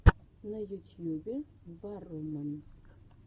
на ютьюбе варроман